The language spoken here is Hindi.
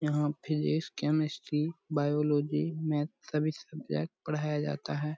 यहां फिजिक्स केमिस्ट्री बॉयलोजी मैथ सभी सब्जेक्ट पढ़ाया जाता है।